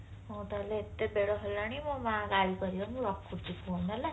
ହଉ ତାହାଲେ ଏତେ ବେଳ ହେଲାଣି ମୋ ମା ଗାଳି କରିବ ମୁଁ ରଖୁଛି phone ହେଲା